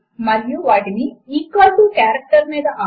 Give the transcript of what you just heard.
ఇక్కడ 2క్స్ ఒక భాగము y ఒక భాగము ఈక్వల్ టు కారెక్టర్ ఒక భాగము